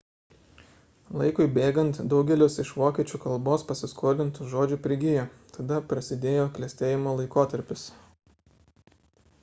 laikui bėgant daugelis iš vokiečių kalbos pasiskolintų žodžių prigijo tada prasidėjo klestėjimo laikotarpis